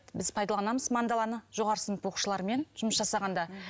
біз пайдаланымыз мандаланы жоғары сынып оқушыларымен жұмыс жасағанда